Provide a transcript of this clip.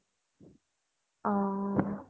অ